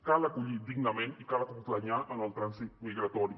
cal acollir dignament i cal acompanyar en el trànsit migratori